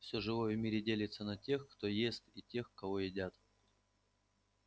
всё живое в мире делится на тех кто ест и тех кого едят